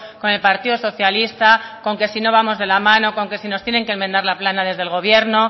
con el partido socialista con que si no vamos de la mano con que si nos tienen que enmendar la plana desde el gobierno